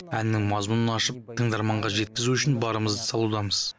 әннің мазмұнын ашып тыңдарманға жеткізу үшін барымызды салудамыз